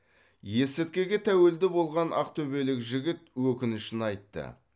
есірткіге тәуелді болған ақтөбелік жігіт өкінішін айтты